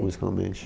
Musicalmente.